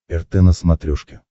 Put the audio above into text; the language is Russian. рт на смотрешке